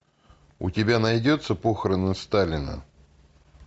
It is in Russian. у тебя найдется похороны сталина